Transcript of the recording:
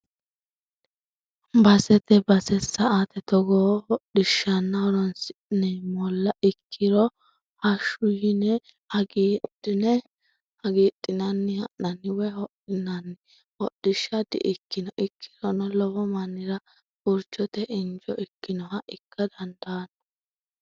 Basete base sa"ate togoo hodhishano horonsi'neemmolla ikkirono hashu yine hagiidhinanni ha'nanni woyi hodhinanni hodhishsha di"ikkino ikkirono lowo mannira furchote injo ikkinoha ikka dandaano.